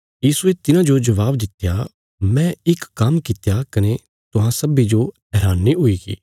यीशुये तिन्हांजो जबाब दित्या मैं इक काम्म कित्या कने तुहां सब्बीं जो हैरानी हुईगी